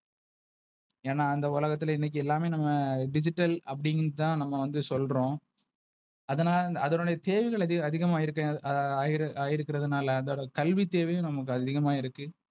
ஏன்னா அந்த உலகத்துல இன்னைக்கு எல்லாமே நம்ம Digital அப்டின்னு தான் நம்ம வந்து சொல்றோம். அதனா அதனோட தேவைகள் அதி அதிகமாஇருக்கு ஆஹ் ஆய்ர் ஆகி இருகுறதுனால அதோட கல்வி தேவையும் நமக்கு அதிகமா இருக்கு.